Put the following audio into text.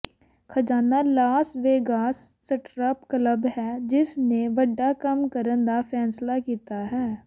ਖਜਾਨਾ Las Vegas strip club ਹੈ ਜਿਸ ਨੇ ਵੱਡਾ ਕੰਮ ਕਰਨ ਦਾ ਫੈਸਲਾ ਕੀਤਾ ਹੈ